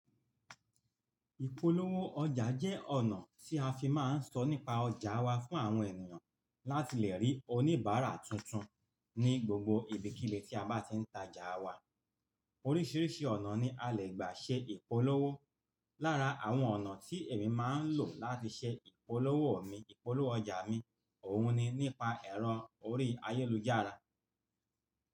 Ìpolówó ọjà jẹ́ ọ̀nà tí a fi máa ń sọ nípa ọjà wa fún àwọn ènìyàn láti lè rí oníbàárà tuntun ní gbogbo ibikílé tí a bá ti ń ta jà wa. Oríṣiríṣi ọ̀nà ni a lè gbà ṣe ìpolówó. Lára àwọn ọ̀nà tí èmi máa ń lò láti ṣe ìpolówó mi, ìpolówó ọjà mi òun ni nípa ẹ̀rọ orí ayélujára.